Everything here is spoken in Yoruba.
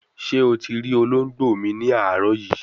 Se o ti ri ologbo mi ni aaro yin?